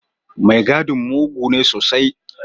Mai gadin mugu ne sosai.